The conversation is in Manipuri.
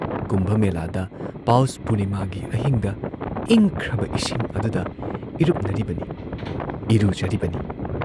ꯀꯨꯝꯚ ꯃꯦꯂꯥꯗ ꯄꯥꯎꯁ ꯄꯨꯔꯅꯤꯃꯥꯒꯤ ꯑꯍꯤꯡꯗ ꯏꯪꯈ꯭ꯔꯕ ꯏꯁꯤꯡ ꯑꯗꯨꯗ ꯏꯔꯨꯞꯅꯔꯤꯕꯅꯤ, ꯏꯔꯨꯖꯔꯤꯕꯅꯤ